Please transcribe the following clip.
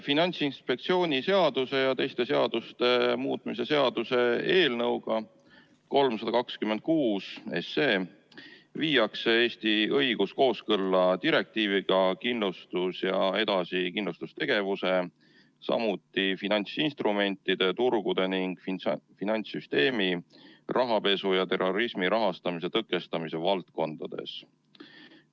Finantsinspektsiooni seaduse ja teiste seaduste muutmise seaduse eelnõuga 326 viiakse Eesti õigus kooskõlla direktiividega kindlustus- ja edasikindlustustegevuse, samuti finantsinstrumentide turgude ning finantssüsteemi rahapesu ja terrorismi rahastamise tõkestamise valdkondades.